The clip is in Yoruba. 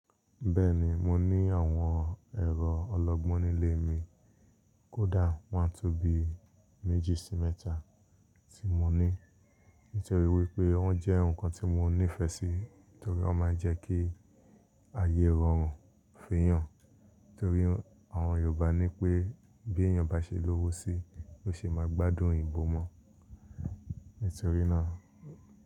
Bẹ́ẹ̀ni, mo ní àwọn ẹ̀rọ ọlọ́gbọ́n nílé mi. Kódà wọ́n tó bi méjì sí mẹ́ta tí mo ní. Nítorí wípé wọ́n jẹ́ ǹkan tí mo ní ìfẹ́ sí, torí ó máa ń jẹ́ kí ayé rọrùn feyàn. Torí àwọn Yorùbá ní pé bí èèyàn bá ṣe lówó sí ló ṣe máa gbádùn eyìnbò mọ. Nítorí náà.